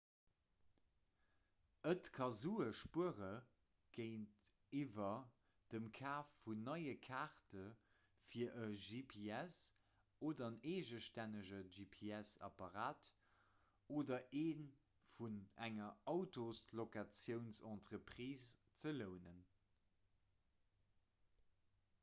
et ka sue spuere géintiwwer dem kaf vun neie kaarte fir e gps oder en eegestännege gps-apparat oder ee vun enger autoslocatiounsentreprise ze lounen